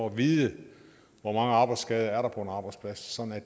at vide hvor mange arbejdsskader der er på en arbejdsplads sådan at